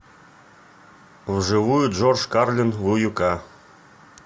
вживую джордж карлин в уюк